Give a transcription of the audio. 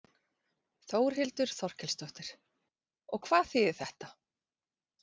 Þórhildur Þorkelsdóttir: Og hvað þýðir þetta?